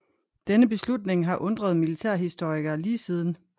Denne beslutning har undret militærhistorikerne lige siden